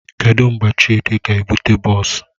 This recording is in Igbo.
Kedụ mgbe Chidi ga-ebute bọọs?